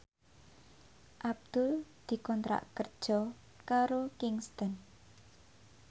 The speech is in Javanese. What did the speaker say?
Abdul dikontrak kerja karo Kingston